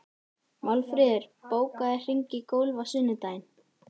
Málfríður, bókaðu hring í golf á sunnudaginn.